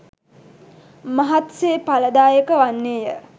මහත් සේ ඵලදායක වන්නේ ය.